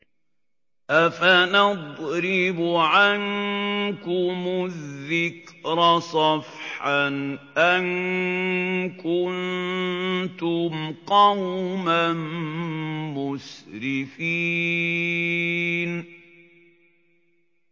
أَفَنَضْرِبُ عَنكُمُ الذِّكْرَ صَفْحًا أَن كُنتُمْ قَوْمًا مُّسْرِفِينَ